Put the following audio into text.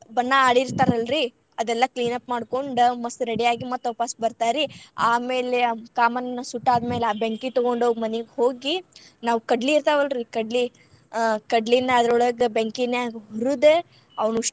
ಬಣ್ಣ ಅಡಿರ್ತರ್ ಅಲ್ರಿ. ಅದೆಲ್ಲಾ cleanup ಮಾಡ್ಕೊಂಡ್ ಮಸ್ತ್ ready ಆಗಿ ಮತ್ ವಾಪಸ್ ಬರ್ತಾರಿ. ಆಮೇಲೆ ಕಾಮಣ್ಣನ್ ಸುಟ್ಟ ಆದ್ಮೇಲೆ ಆ ಬೆಂಕಿ ತುಗೊಂಡ್ ಹೋಗ್ ಮನಿಗೆ ಹೋಗಿ ನಾವ್ ಕಡ್ಲಿ ಇರ್ತಾವಲ್ ರೀ ಕಡ್ಲಿ, ಅ ಕಡ್ಲಿನ್ ಅದ್ರೊಳಗ ಬೆಂಕಿನ್ಯಾಗ್ ಹುರದ ಅವನಿಷ್ಟು.